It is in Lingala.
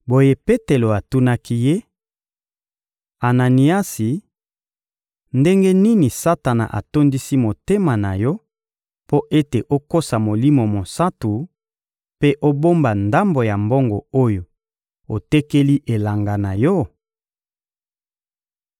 Boye, Petelo atunaki ye: — Ananiasi, ndenge nini Satana atondisi motema na yo mpo ete okosa Molimo Mosantu, mpe obomba ndambo ya mbongo oyo otekeli elanga na yo?